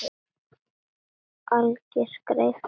Alger skræfa eða hvað?